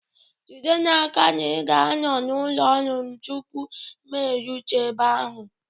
Jide n'aka na ị ga-anọ na ụlọ ọrụ tupu m erute ebe ahụ!